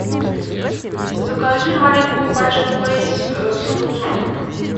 закажи маленькую пачку лейс с огурцом